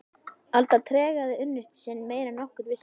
Alda tregaði unnusta sinn meira en nokkur vissi.